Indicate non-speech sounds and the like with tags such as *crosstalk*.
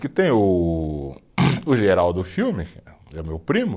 Que tem o *coughs* o geral do filme, *unintelligible* meu primo.